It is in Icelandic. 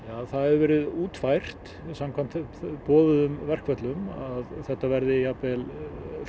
það hefur verið útfært samkvæmt boðuðum verkföllum að þetta verði jafnvel og